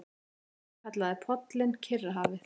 Tommi kallaði pollinn Kyrrahafið.